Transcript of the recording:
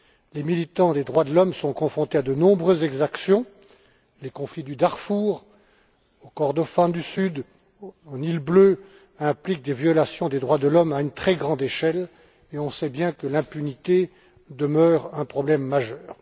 Les militants des droits de l'homme sont confrontés à de nombreuses exactions Les conflits du Darfour, du Kordofan du Sud et du Nil bleu impliquent des violations de l'homme à une très grande échelle, et on sait bien que l'impunité demeure un problème majeur.